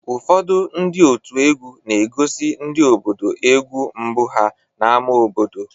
Ụfọdụ ndị òtù egwú na-egosi ndị obodo egwu mbụ ha n'ámá obodo.